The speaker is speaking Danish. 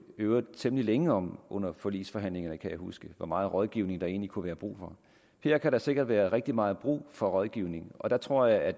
øvrigt temmelig længe om under forligsforhandlingerne kan jeg huske hvor meget rådgivning der egentlig kunne være brug for her kan der sikkert være rigtig meget brug for rådgivning og der tror jeg at